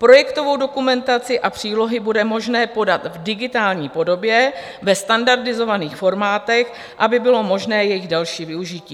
Projektovou dokumentaci a přílohy bude možné podat v digitální podobě ve standardizovaných formátech, aby bylo možné jejich další využití.